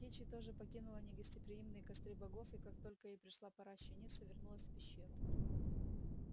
кичи тоже покинула негостеприимные костры богов и как только ей пришла пора щениться вернулась в пещеру